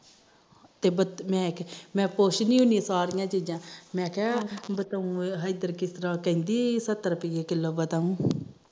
ਤੇ ਮੈ ਪੁਛਦੀ ਹੁੰਦੀ ਸਾਰੀਆਂ ਚੀਜਾ ਮੈ ਕਿਹਾ ਬਤਾਊ ਇਧਰ ਕਿਸ ਤਰਾ ਕਹਿੰਦੀ ਸੱਤਰ ਰੁਪੀਏ ਕਿਲੋ ਬਤਾਉ